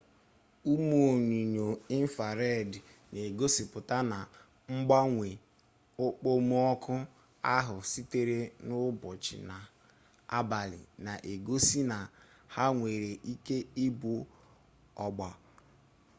ụmụ onyinyo infrareed na-egosipụta na mgbanwe okpomọkụ ahụ sitere n'ụbọchị na abalị na-egosi na ha nwere ike ịbụ ọgba